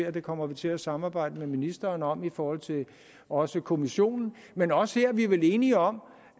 at vi kommer til at samarbejde med ministeren om det i forhold til også kommissionen men også her er vi vel enige om